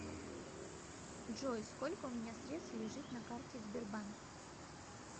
джой сколько у меня средств лежит на карте сбербанк